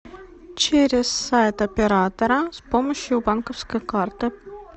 через сайт оператора с помощью банковской карты